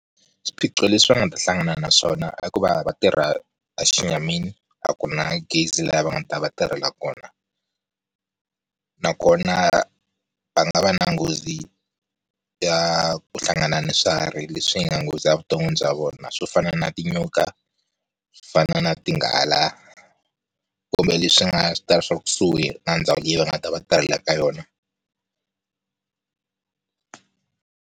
Swiphiqo leswi va nga ta hlangana naswona i ku va vatirha a xi nyamini a ku na gezi laha va nga ta va tirhela kona. Nakona va nga va na nghozi ya ku hlangana ni swihari leswi nga nghozi evuton'wini bya vona, swo fana na tinyoka swo fana na ti nghala, kumbe leswi swi nga ta va swi ri kusuhi na ndhawu leyi va nga ta va va tirhela ka yona.